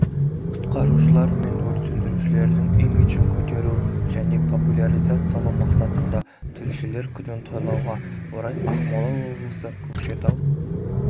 құтқарушылар мен өрт сөндірушілердің имиджін көтеру және популяризациалау мақсатында тілшілер күнін тойлауға орай ақмола облысы көкшетау